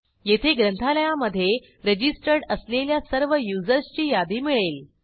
येथे ग्रंथालयामधे रजिस्टर्ड असलेल्या सर्व युजर्सची यादी मिळेल